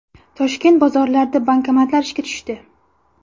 Toshkent bozorlarida bankomatlar ishga tushdi .